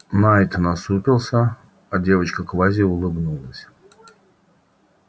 найд насупился а девочка-квази улыбнулась